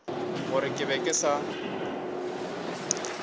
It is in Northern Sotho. gore ke be ke sa